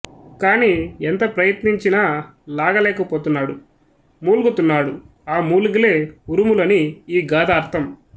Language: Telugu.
కానీ ఎంత ప్రయత్నించినా లాగలేక పోతున్నాడు మూల్గుతున్నాడు ఆ మూల్గులే ఉరుములు అని ఈ గాథ అర్ధం